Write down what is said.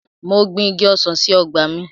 Mo gbin Igi ọsàn sí ọgbà mi.